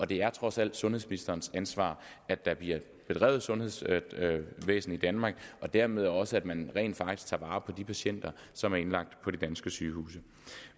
det er trods alt sundhedsministerens ansvar at der bliver drevet et sundhedsvæsen i danmark og dermed også at man rent faktisk tager vare på de patienter som er indlagt på de danske sygehuse